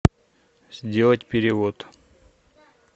сделать перевод